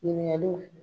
Ɲininkaliw